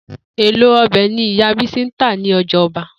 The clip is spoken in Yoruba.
Èlò o̩bè̩ ni ìyá Bísí ń tà ní o̩jà o̩ba